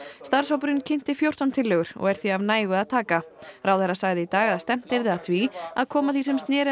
starfshópurinn kynnti fjórtán tillögur og er því af nægu að taka ráðherra sagði í dag að stefnt yrði að því að koma því sem sneri